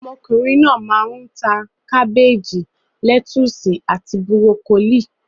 Ọmọkùnrin náà máa ń ta; kábéèjì, lẹ́túsì àti búrókólì.